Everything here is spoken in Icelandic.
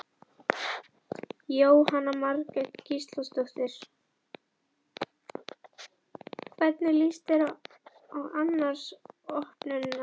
Jóhanna Margrét Gísladóttir: Hvernig líst þér annars á opnunina?